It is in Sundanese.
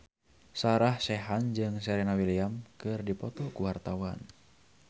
Sarah Sechan jeung Serena Williams keur dipoto ku wartawan